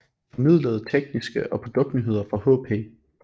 Det formidlede tekniske og produkt nyheder fra HP